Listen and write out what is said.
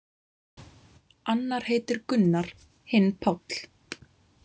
Annar heitir Gunnar, hinn Páll.